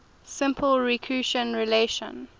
simple recurrence relation